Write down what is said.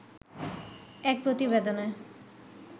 এক প্রতিবেদনে